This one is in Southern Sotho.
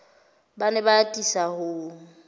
ba ne ba atisa ho